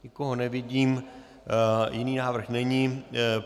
Nikoho nevidím, jiný návrh není.